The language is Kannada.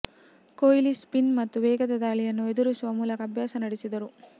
ಕೊಹ್ಲಿ ಸ್ಪಿನ್ ಮತ್ತು ವೇಗದ ದಾಳಿಯನ್ನು ಎದುರಿಸುವ ಮೂಲಕ ಅಭ್ಯಾಸ ನಡೆಸಿದರು